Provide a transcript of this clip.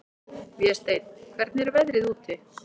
Vésteinn, hvernig er veðrið úti?